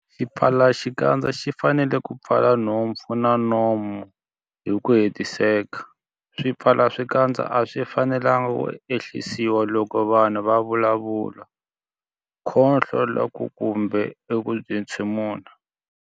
Xipfalaxikandza xi fanele ku pfala nhompfu na nomo hi ku hetiseka. Swipfalaxikandza a swi fanelanga ku ehlisiwa loko munhu a vulavula, khohlola kumbe ku entshemula.